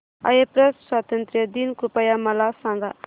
Cyprus स्वातंत्र्य दिन कृपया मला सांगा